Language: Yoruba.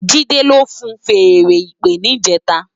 Jide ló fúùn fèèrè ìpè nijètá